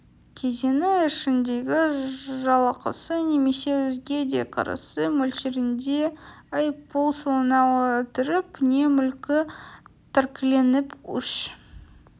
кезеңі ішіндегі жалақысы немесе өзге де кірісі мөлшерінде айыппұл салына отырып не мүлкі тәркіленіп үш